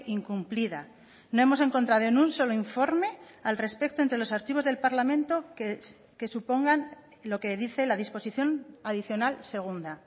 incumplida no hemos encontrado en un solo informe al respecto entre los archivos del parlamento que supongan lo que dice la disposición adicional segunda